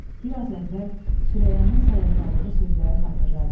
Bir az əvvəl Süreyyanın sayıqladığı sözləri xatırladı.